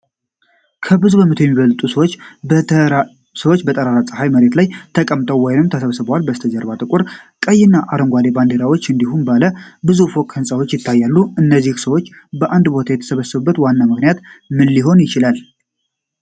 ከብዙ መቶ የሚበልጡ ሰዎች በጠራራ ፀሐይ መሬት ላይ ተቀምጠዋል ወይም ተሰብስበዋል። ከበስተጀርባ ጥቁር፣ ቀይና አረንጓዴ ባንዲራዎች እንዲሁም ባለ ብዙ ፎቅ ሕንፃዎች ይታያሉ። እነዚህ ብዙ ሰዎች በአንድ ቦታ የተሰበሰቡበት ዋና ምክንያት ምን ሊሆን ይችላል?